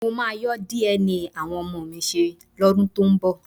Mo máa yọ́ DNA àwọn ọmọ mi ṣe lọ́dún tó ń bọ̀